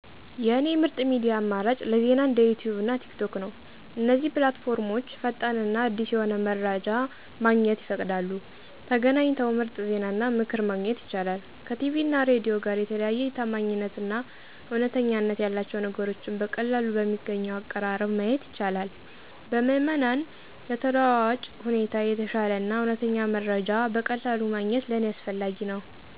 የእኔ ምርጥ ሚዲያ አማራጭ ለዜና እንደ ዩትዩብ እና ቲክቶክ ነው። እነዚህ ፕላትፎርሞች ፈጣን እና አዲስ የሆነ መረጃ ማግኘት ይፈቅዳሉ፤ ተገናኝተው ምርጥ ዜናና ምክር ማግኘት ይቻላል። ከቲቪ እና ሬዲዮ ጋር የተለየ የታማኝነት እና እውነተኛነት ያላቸው ነገሮችን በቀላሉ በሚገኘው አቀራረብ ማየት ይቻላል። በምዕመናን ተለዋዋጭ ሁኔታ የተሻለ እና እውነተኛ መረጃ በቀላሉ ማግኘት ለእኔ አስፈላጊ ነው።